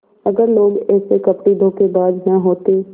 अगर लोग ऐसे कपटीधोखेबाज न होते